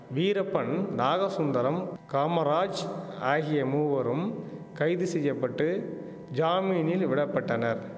வீரப்பன் நாகசுந்தரம் காமராஜ் ஆகிய மூவரும் கைது செய்ய பட்டு ஜாமீனில் விட பட்டனர்